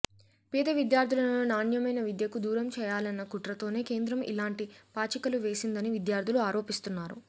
పేద విద్యార్థులను నాణ్యమైన విద్యకు దూరం చేయాలన్న కుట్రతోనే కేంద్రం ఇలాంటి పాచికలు వేసిందని విద్యార్థులు ఆరోపిస్తున్నారు